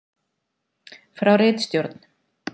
Frá ritstjórn: